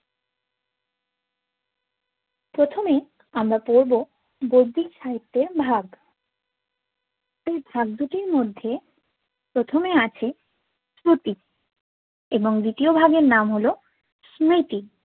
প্রথমে আমরা পরবো গোব্বিক সাহিত্যের ভাগ এই ভাগ দুটির মধ্যে প্রথমে আছে শ্রুতি এবং দ্বিতীয় ভাগের নাম হল স্মৃতি